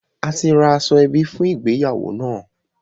A ti ra aṣọ ẹbí fún ìgbéyàwó náà